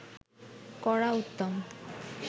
করা উত্তম